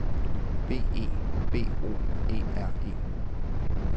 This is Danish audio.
B E B O E R E